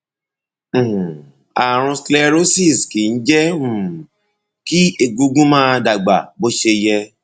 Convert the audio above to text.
um ààrùn sclerosis kìí jẹ um kí egungun máa dàgbà bó ṣe yẹ